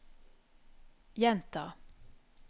gjenta